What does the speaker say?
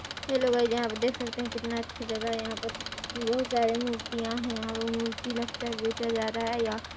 hello guys आप यहाँ देख सकते है कितना अच्छा जगह है यहाँ पर बहुत सारी मूर्तिया है मूर्ति लगता है बेचा रहा है या--